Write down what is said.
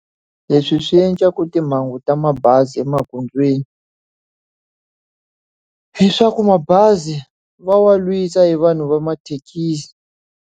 Leswi swi endlaka timhangu ta mabazi emagondzweni i swa ku mabazi va wa lwisa hi vanhu va mathekisi.